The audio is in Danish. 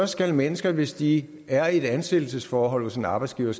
skal mennesker hvis de er i et ansættelsesforhold hos en arbejdsgiver